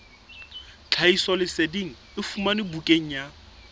tlhahisoleseding e fumanwe bukaneng ya